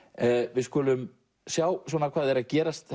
við skulum sjá hvað er að gerast